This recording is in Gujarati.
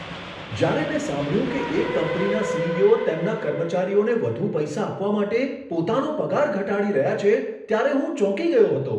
જ્યારે મેં સાંભળ્યું કે એક કંપનીના સી.ઇ.ઓ. તેમના કર્મચારીઓને વધુ પૈસા આપવા માટે પોતાનો પગાર ઘટાડી રહ્યા છે, ત્યારે હું ચોંકી ગયો હતો.